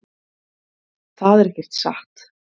Það er ekkert satt.